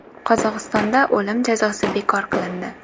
Qozog‘istonda o‘lim jazosi bekor qilindi.